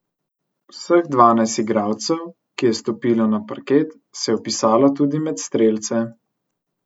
Vseh dvanajst igralcev, ki je stopilo na parket, se je vpisalo tudi med strelce.